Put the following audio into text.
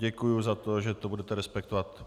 Děkuji za to, že to budete respektovat.